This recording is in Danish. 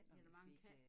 Nå det var en kat